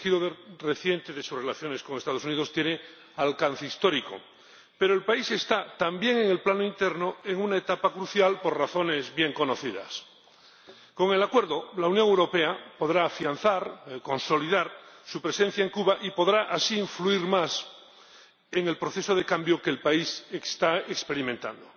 El giro reciente de sus relaciones con los Estados Unidos tiene alcance histórico, pero el país está, también en el plano interno, en una etapa crucial por razones bien conocidas. Con el Acuerdo, la Unión Europea podrá afianzar, consolidar su presencia en Cuba y podrá así influir más en el proceso de cambio que el país está experimentando.